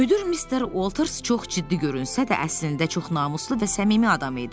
Müdir Mister Walters çox ciddi görünsə də, əslində çox namuslu və səmimi adam idi.